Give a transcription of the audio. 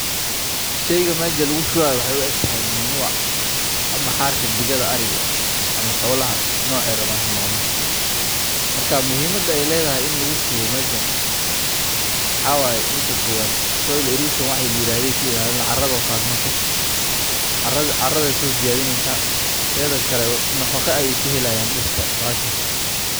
Sheyga meeshan lugushubayo waxa waye manure ama xarka digada ama xolaha nocey tahay hanoqote marka muhiim ey ledahay waxa waye soil eresion wax layirahdo ayey kailaini oo wexey tahay carada ayey soziydineysa teda kale nafaqo ayey utari.